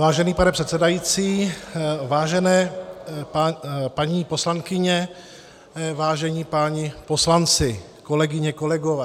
Vážený pane předsedající, vážené paní poslankyně, vážení páni poslanci, kolegyně, kolegové.